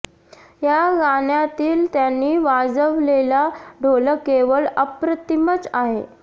या गाण्यातील त्यानी वाजवलेला ढोलक केवळ अप्रतिमच आहे